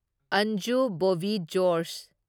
Anju Bobby George